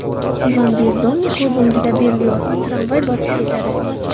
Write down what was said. Ivan Bezdomniy ko‘z o‘ngida Berliozni tramvay bosib ketadi.